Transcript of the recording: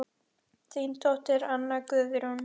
Þín dóttir, Anna Guðrún.